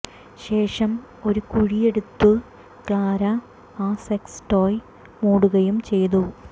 ശേഷം ഒരു കുഴിയെടുത്ത് ക്ലാര ആ സെക്സ് ടോയ് മൂടുകയും ചെയ്തു